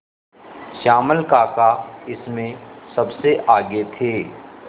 श्यामल काका इसमें सबसे आगे थे